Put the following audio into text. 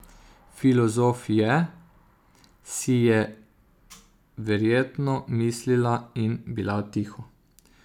Filozof je, si je verjetno mislila in bila tiho.